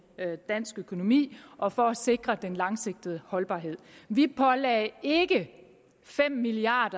dansk økonomi og for at sikre den langsigtede holdbarhed vi pålagde ikke fem milliard